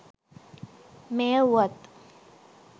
මෙය වුවත්